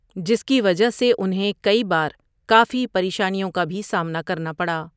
جس کی وجہ سے انہیں کئی بار کافی پریشانوں کا بھی سامنا کرنا پڑا۔